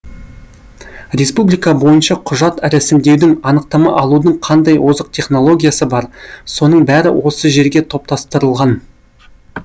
республика бойынша құжат рәсімдеудің анықтама алудың қандай озық технологиясы бар соның бәрі осы жерге топтастырылған